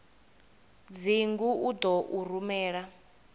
dzingu u ḓo u rumela